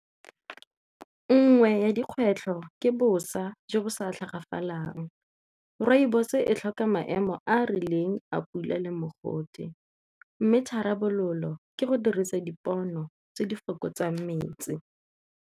Nngwe ya dikgwetlho ke bosa jo bo sa tlhagafalang, rooibos e tlhoka maemo a a rileng a pula le mogote mme tharabololo ke go dirisa dipono tse di fokotsang metsi.